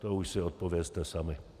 To už si odpovězte sami.